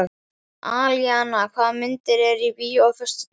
Alíana, hvaða myndir eru í bíó á föstudaginn?